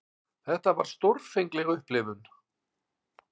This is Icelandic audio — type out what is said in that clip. Þetta var stórfengleg upplifun.